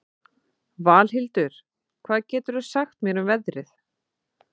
Valhildur, hvað geturðu sagt mér um veðrið?